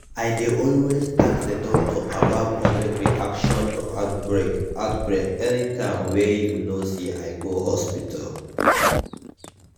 i dey always ask the doctor about public reaction to outbreak outbreak anytym wey you know say i go hospital